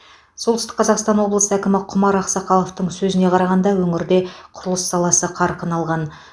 солтүстік қазақстан облыс әкімі құмар ақсақаловтың сөзіне қарағанда өңірде құрылыс саласы қарқын алған